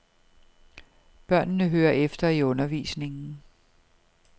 Børnene hører efter i undervisningen.